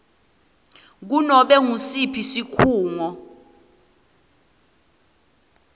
kunobe ngusiphi sikhungo